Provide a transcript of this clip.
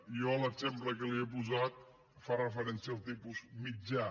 jo l’exemple que li he posat fa referència al tipus mitjà